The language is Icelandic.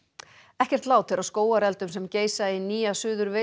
ekkert lát er á skógareldum sem geisa í Nýja Suður